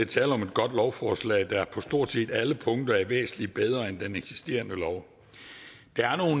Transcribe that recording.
tale om et godt lovforslag der på stort set alle punkter er væsentlig bedre end den eksisterende lov